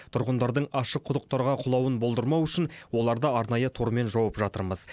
тұрғындардың ашық құдықтарға құлауын болдырмау үшін оларды арнайы тормен жауып жатырмыз